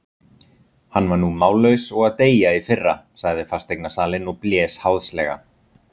Hann var nú mállaus og að deyja í fyrra, sagði fasteignasalinn og blés háðslega.